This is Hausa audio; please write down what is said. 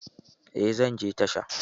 Eh, zan je tashan.